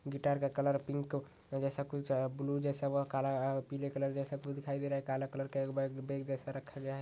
Guitar का colour pink जैसा कुछ ब्लू जैसा व काला पिले कलर का जैसा कुछ दिखाई दे रहा काला कलर का एक बेग बैग जैसा रखा गया है।